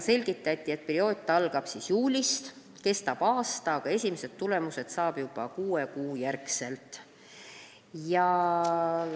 Selgitati, et see periood algab juulist, kestab aasta, aga esimesed tulemused saab juba kuue kuu järel.